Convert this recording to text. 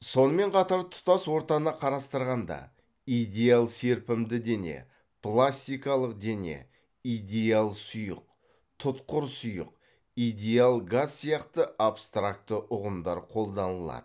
сонымен қатар тұтас ортаны қарастырғанда идеал серпімді дене пластикалық дене идеал сұйық тұтқыр сұйық идеал газ сияқты абстракты ұғымдар қолданылады